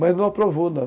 Mas não aprovou, não.